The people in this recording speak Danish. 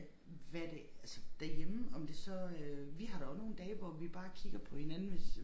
At hvad det altså derhjemme om det så øh vi har da også nogle dage hvor vi bare kigger på hinanden hvis